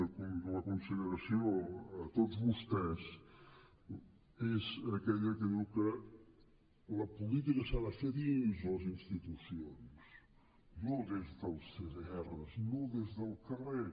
a la consideració de tots vostès és aquella que diu que la política s’ha de fer dins les institucions no des dels cdrs no des del carrer